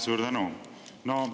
Suur tänu!